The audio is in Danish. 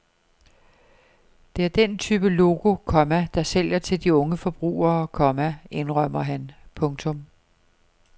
Det er den type logo, komma der sælger til de unge forbrugere, komma indrømmer han. punktum